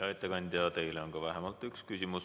Hea ettekandja, teile on vähemalt üks küsimus.